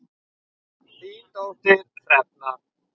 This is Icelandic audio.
Þín dóttir Hrefna.